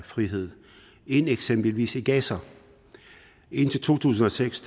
frihed end eksempelvis i gaza indtil to tusind og seks